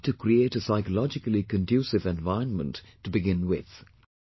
There is a need to create a psychologically conducive environment to begin with